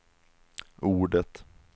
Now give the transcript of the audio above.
ordet